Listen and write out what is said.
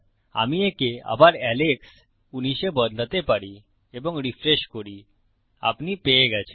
আমি একে আবার Alex১৯ এ বদলাতে পারি এবং রিফ্রেশ করি আপনি পেয়ে গেছেন